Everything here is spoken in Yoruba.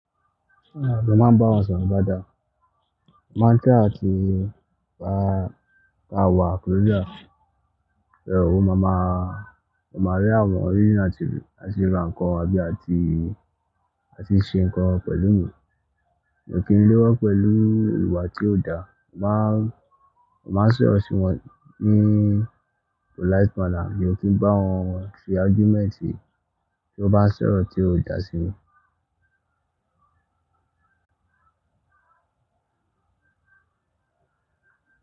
Mo máa ń bá wa sọ̀rọ̀ dáadáa, máa ń try àti pa ká wà closer. Ò máa máa, máa máa rí àwọn area atí rá nkán àbí àti àti ṣe nǹkan pẹ̀lú mi. Mo kì í léwọ́ pẹ̀lú iwà tí ò dáa, mo máa, mo máa sọ̀rọ̀ sí wọn ní polite manner mio kì í bá wọn ṣe argument bí wọ́n bá ń sọ̀rọ̀ tí ò dáa sí mi.